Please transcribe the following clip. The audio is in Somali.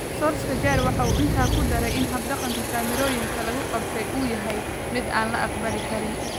Solskjaer waxa uu intaa ku daray in hab-dhaqanka kaamirooyinka lagu qabtay uu yahay mid aan la aqbali karin.